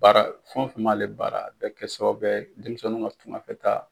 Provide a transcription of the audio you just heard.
Baara, fɛn o fɛn b'a ale baara o bɛ kɛ sababuya ye denmisɛnw ka tungafɛta